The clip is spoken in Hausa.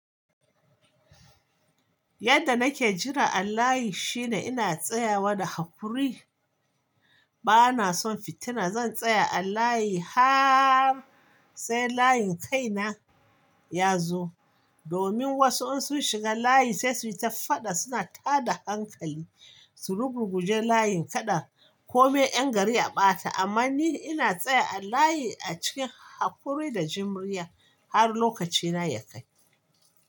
Yadda nake jira a layi shine ina tsayawa da haƙuri. Bana son fitina. Zan tsaya a layi har sai layin kaina ya zo. Domin wasu in sun shiga layi sai su yi ta faɗa, suna tada hankali su rugu ruguje layin kaɗan, ko mai 'yan gari a ɓata. Amma ni ina tsaye a layi a cikin haƙuri da jimriya har lokacina ya kai.